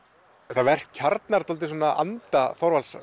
þetta verk kjarnar anda Þorvaldar